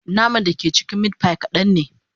Naman da ke cikin meat pie kadan ne